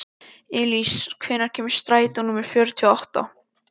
Elís, hvenær kemur strætó númer fjörutíu og átta?